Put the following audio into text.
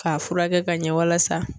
K'a furakɛ ka ɲɛ walasa